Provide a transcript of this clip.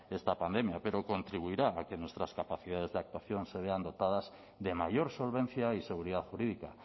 esta pandemia pero contribuirá a que nuestras capacidades de actuación se vean dotadas de mayor solvencia y seguridad jurídica